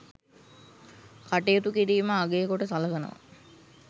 කටයුතු කිරීම අගය කොට සලකනවා.